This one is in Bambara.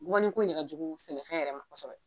Bubakanin ko in de ka jugu sɛnɛfɛn yɛrɛ ma kɔsɔbɛ.